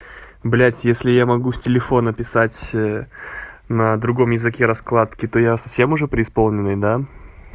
блядь если я могу с телефона писать на другом языке раскладки то я совсем уже преисполненный да